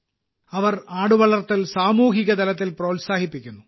അവർ ആടുവളർത്തൽ സാമൂഹിക തലത്തിൽ പ്രോത്സാഹിപ്പിക്കുന്നു